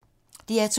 DR2